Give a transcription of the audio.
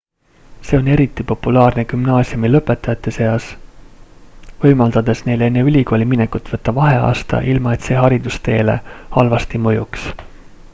see on eriti populaarne gümnaasiumilõpetajate seas võimaldades neil enne ülikooli minekut võtta vaheaasta ilma et see haridusteele halvasti mõjuks